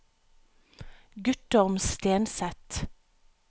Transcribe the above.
Guttorm Stenseth